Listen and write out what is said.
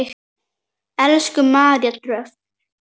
Elsku María Dröfn.